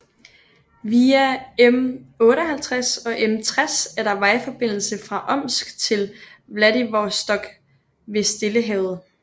Via M58 og M60 er der vejforbindelse fra Omsk til Vladivostok ved Stillehavet